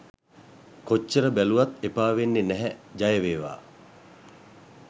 කොච්චර බැලුවත් එපා වෙන්නෙ නැහැ ජයවේවා